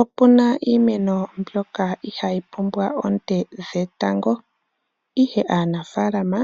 Opena iimeno mbyoka ihaayi pumbwa oonte dhetango. Aanafalama